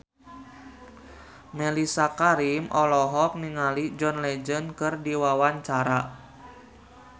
Mellisa Karim olohok ningali John Legend keur diwawancara